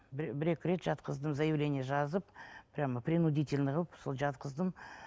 бір бір екі рет жатқыздым заявление жазып прямо принудительно қылып сол жатқыздым